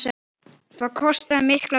Það kostaði mikla vinnu.